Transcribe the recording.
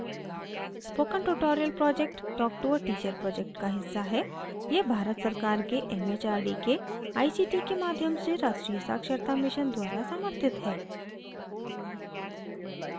spoken tutorial project talk to a teacher project का हिस्सा है यह भारत सरकार के एम एच आर डी के a सी टी के माध्यम से राष्ट्रीय साक्षरता mission द्वारा समर्थित है